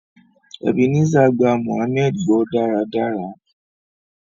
Ebenezer gbà mohammed gbó dáradára.